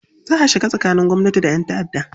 Za a shiga tsakanin gwamnati da 'yan ta'adda